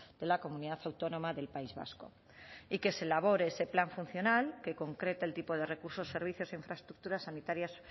de la comunidad autónoma del país vasco y que se elabore ese plan funcional que concrete el tipo de recursos servicios e infraestructuras sanitarias